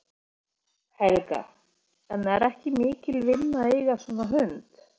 Helga: En er ekki mikil vinna að eiga svona hund?